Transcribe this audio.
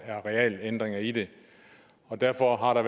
er realændringer i det derfor har der